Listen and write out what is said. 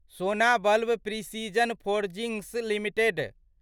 सोना बल्व precision forgings limited